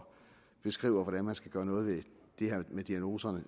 beskriver hvordan man skal gøre noget ved det her med diagnoserne